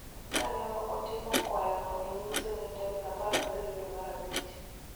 Ka ne otimo kwayono e nyim senet tarik 17 dwe mar Abich,